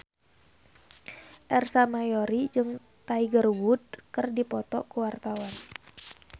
Ersa Mayori jeung Tiger Wood keur dipoto ku wartawan